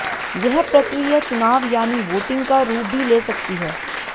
यह प्रक्रिया चुनाव यानी वोटिंग का रूप भी ले सकती है